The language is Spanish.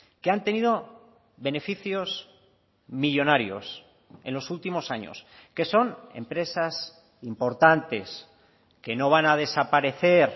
que han tenido beneficios millónarios en los últimos años que son empresas importantes que no van a desaparecer